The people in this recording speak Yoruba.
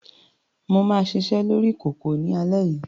Mà á ṣiṣẹ́ lórí kòkò ní alẹ́ yìí.